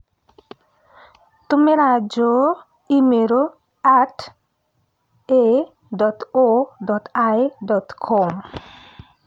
Tũmĩrea Joe e- i-mīrū at a. o. l. dot com